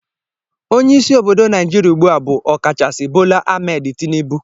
Onye isi obodo naijiria ugbua bu Okachaisi Bola Ahmed Tinibu